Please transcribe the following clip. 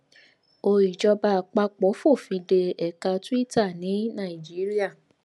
ó ìjọba àpapọ fòfin dé ẹka tuita ní nàìjíríà